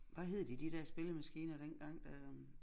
Hvad hed de de der spillemaskiner dengang øh